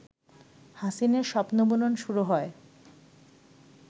হাসিনের স্বপ্নবুনন শুরু হয়